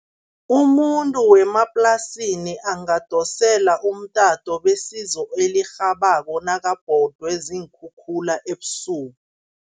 Umuntu wemaplasini angadosela umtato besizo elirhabako nakabhodwe ziinkhukhula ebusuku.